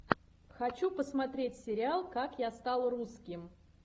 хочу посмотреть сериал как я стал русским